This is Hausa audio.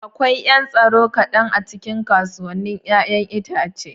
Akwai 'yan tsaro kaɗan a cikin kasuwannin 'ya'yan itace.